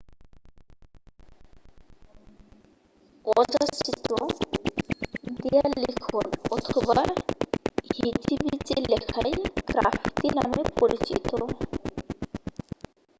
অযাচিত দেয়াললিখন অথবা হিজিবিজি লেখাই গ্রাফিতি নামে পরিচিত